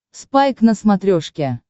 спайк на смотрешке